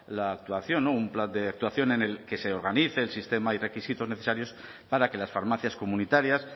la actuación un plan de actuación en el que se organice el sistema y requisitos necesarios para que las farmacias comunitarias